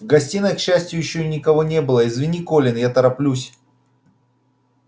в гостиной к счастью ещё никого не было извини колин я тороплюсь